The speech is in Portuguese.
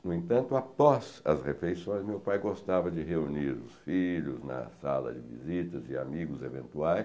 No entanto, após as refeições, meu pai gostava de reunir os filhos na sala de visitas e amigos eventuais.